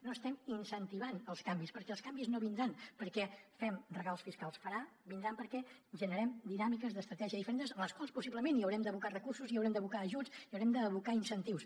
no estem incentivant els canvis perquè els canvis no vindran perquè fem regals fiscals vindran perquè generem dinàmiques d’estratègia diferents amb les quals possiblement hi haurem d’abocar recursos hi haurem d’abocar ajuts hi haurem d’abocar incentius